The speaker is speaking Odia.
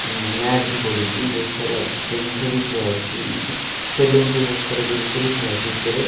ମ୍ୟାଟ୍ ଭି ପଡ଼ିଛି ବହୁତ୍ ସାରା ଜିନିଷ ବି ଥୁଆ ହୋଇଛି ସେଲୁନ ରୁ ବହୁତ ସାରା ଜିନିଷ ବି ଥୁଆ ହୋଇଛି ଭିତରେ।